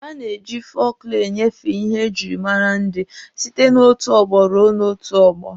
A na-eji fọlkụlọ enyefe ihe e jiri mara ndị site n'otu ọgbọ ruo n'otu ọgbọ.